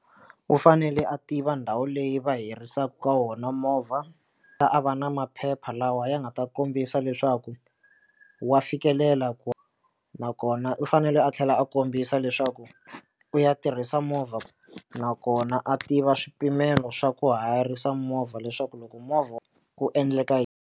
U fanele a tiva ndhawu leyi va hirisaka ka wona movha a va na maphepha lawa ya nga ta kombisa leswaku wa fikelela ku na kona u fanele a tlhela a kombisa leswaku u ya tirhisa movha nakona a tiva swipimelo swa ku hayarisa movha leswaku loko movha ku endleka yini.